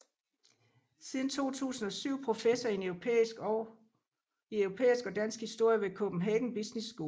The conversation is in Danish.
Siden 2007 professor i europæisk og dansk historie ved Copenhagen Business School